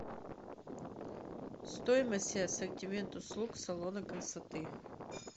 стоимость и ассортимент услуг салона красоты